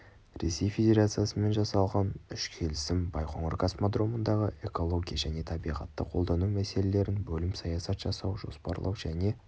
ресей федерациясымен жасалған үш келісім байқоңыр космодромындағы экология және табиғатты қолдану мәселелерін бөлім саясат жасау жоспарлау және